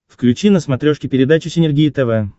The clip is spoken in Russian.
включи на смотрешке передачу синергия тв